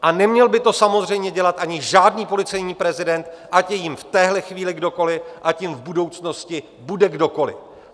A neměl by to samozřejmě dělat ani žádný policejní prezident, ať je jím v téhle chvíli kdokoli, ať jím v budoucnosti bude kdokoli.